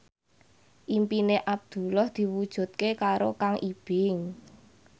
impine Abdullah diwujudke karo Kang Ibing